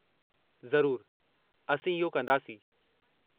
ज़रूरु, असीं इहो कंदासीं।